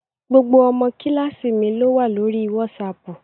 Gbogbo ọmọ kíláàsì mi ló wà lórí wásaaàpù